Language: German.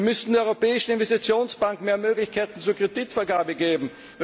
Wir müssen der Europäischen Investitionsbank mehr Möglichkeiten zur Kreditvergabe geben.